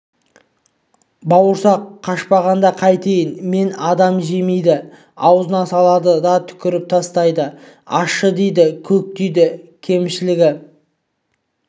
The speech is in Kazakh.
бауырсақ қашпағанда қайтейін мені адам жемейді аузына салады да түкіріп тастайды ащы дейді көк дейді кемшілігі